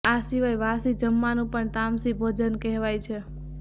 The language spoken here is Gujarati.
આ સિવાય વાસી જમવાનું પણ તામસી ભોજન કહેવાય છે